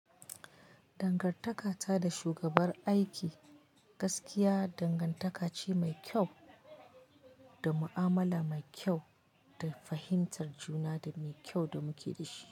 Dangartaka ta da shugabar aiki gaskiya dangantaka ce mai kyau da mu'amala mai kyau da fahimtar juna da mai kyau da muke da shi.